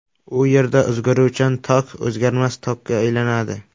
U yerda o‘zgaruvchan tok o‘zgarmas tokka aylanadi.